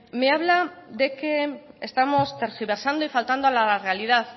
me habla de que estamos tergiversando y faltando a la realidad